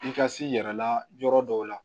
I ka s'i yɛrɛ la yɔrɔ dɔw la